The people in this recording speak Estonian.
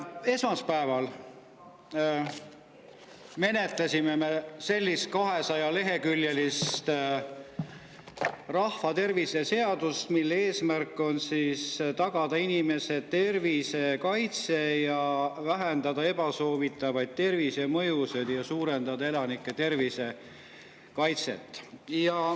Esmaspäeval me menetlesime 200‑leheküljelist rahvatervis seaduse, mille eesmärk on tagada inimese tervise kaitse ja vähendada ebasoovitavaid tervisemõjusid ja suurendada elanike tervise kaitset.